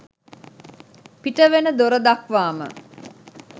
පිට වෙන දොර දක්වාම